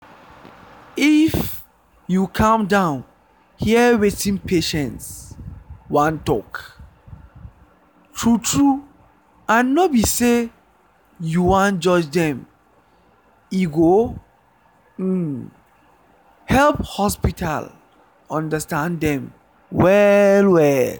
if you calm down hear wetin patients wan talk true true and no be sey you wan judge them e go um help hospital understand dem well well